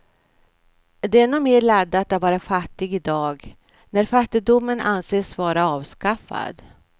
Det är nog mer laddat att vara fattig i dag, när fattigdomen anses vara avskaffad.